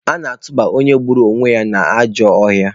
A na-atụba onye gburu onwe ya n'ajọ ọhịa.